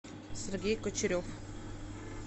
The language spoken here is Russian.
сергей кучерев